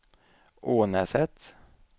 Ånäset